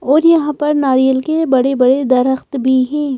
और यहाँ पर नारियल के बड़े-बड़े दरख्त भी हैं।